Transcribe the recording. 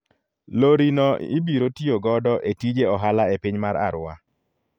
Lori no ibiro tiyo godo e tije ohala e piny mar Arua.